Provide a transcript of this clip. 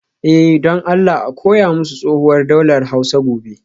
Eh, don Allah a koya musu tsohuwar daular Hausa gobe